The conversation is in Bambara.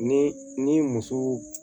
Ni ni muso